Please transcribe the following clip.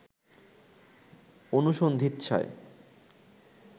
অনুসন্ধিৎসায়